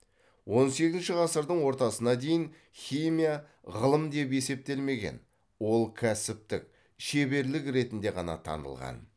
он сегізінші ғасырдың ортасына дейін химия ғылым деп есептелмеген ол кәсіптік шеберлік ретінде ғана танылған